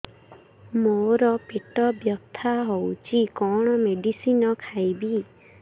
ମୋର ପେଟ ବ୍ୟଥା ହଉଚି କଣ ମେଡିସିନ ଖାଇବି